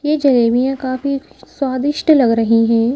ये जलेबियां काफी स्वादिष्ट लग रही हैं।